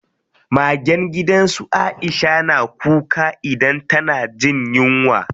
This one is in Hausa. Magen gidan su Aisha na kuka idan tana jin yunwa.